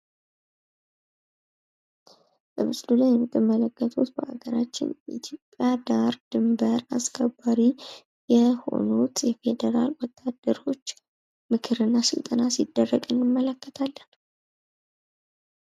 በምስሉ ላይ የምትመለከቱት በሀገራችን ኢትዮጵያ ዳር ድንበር አስከባሪ የሆኑት የፌደራል ወታደሮች ምክር እና ስልጠና ሲደረግ እንመለከታለን።